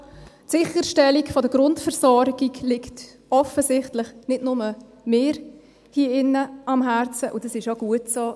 Die Sicherstellung der Grundversorgung liegt hier in diesem Saal offensichtlich nicht nur mir am Herzen, und das ist auch gut so.